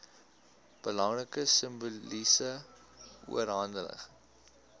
belangrike simboliese oorhandiging